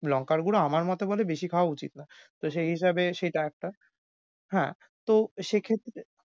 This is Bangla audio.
লঙ্কার গুড়ো আমার মতামতে বেশি খাওয়া উচিত না। তো সেই হিসাবে সেটা একটা। হ্যাঁ, তো সেক্ষেত্রে